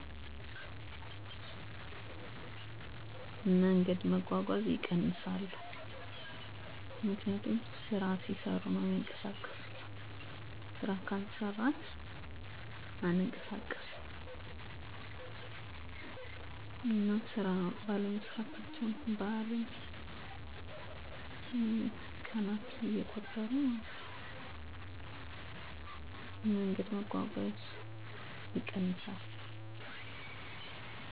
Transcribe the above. አዎን፣ ለብዙ ሰዎች የዕለት ተዕለት እንቅስቃሴ በቀናትም በወቅቶችም ይለዋዋጣል። ይህ መለዋወጥ ከሁኔታ፣ ከባህል እና ከግዴታ ጋር በቀጥታ ይያያዛል። በቀናት (ቅዳሜ፣ እሁድ፣ በዓላት): ብዙ ሰዎች ከሥራ ወይም ከትምህርት ዕረፍት ይወስዳሉ፣ ስለዚህ መንገድ መጓጓዝ ይቀንሳል ከቤተሰብ እና ከጓደኞች ጋር ጊዜ ማሳለፍ ይጨምራል በዓላት ላይ ልዩ ልምዶች (ጉብኝት፣ ልዩ ምግብ፣ ስነ-ሃይማኖት ተግባሮች) ይገባሉ 👉 ምክንያቱም እነዚህ ቀናት ከመደበኛ ግዴታ የተለዩ ስለሆኑ ነው። በወቅቶች (ዝናባማ እና ደረቅ): በዝናባማ ወቅት መውጣት ይቀንሳል፣ እንቅስቃሴዎችም በቤት ውስጥ ይጨምራሉ በግብርና ላይ የተመሠረቱ ማህበረሰቦች ላይ ይህ ወቅት የሥራ ጫና ይጨምራል